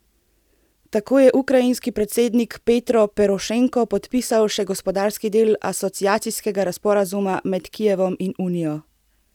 Tako je ukrajinski predsednik Petro Porošenko podpisal še gospodarski del asociacijskega sporazuma med Kijevom in Unijo.